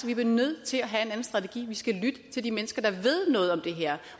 vi bliver nødt til at have en anden strategi vi skal lytte til de mennesker der ved noget om det her